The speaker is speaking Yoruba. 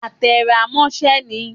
A te rá mosẹ ní